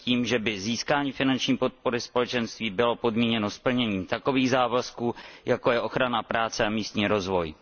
i tím, že by získání finanční podpory Společenství bylo podmíněno splněním takových závazků, jako je ochrana práce a místní rozvoj.